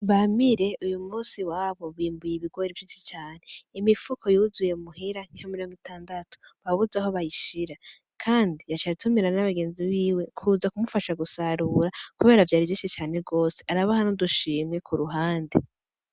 Bamire uyu musi iwawo bimbuye ibigori vyinshi cane, imifuko yuzuye muhira nka mirongo itandatu babuze aho bayishira, kandi yaciye atumira n'abagenzi biwe kuza kumufasha gusarura kubera vyari vyinshi cane gose, arabaha n'udushimwe ku ruhande.